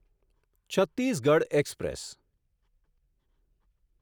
Chhattisgarh express